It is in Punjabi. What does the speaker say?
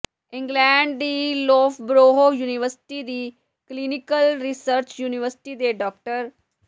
ਇੰਗਲੈਂਡ ਦੀ ਲੌਫ਼ਬਰੋਹ ਯੂਨੀਵਰਸਿਟੀ ਦੀ ਕਲੀਨਿਕਲ ਰਿਸਰਚ ਯੂਨਿਟ ਦੇ ਡਾ